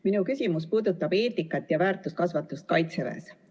Minu küsimus puudutab eetikat ja väärtuskasvatust Kaitseväes.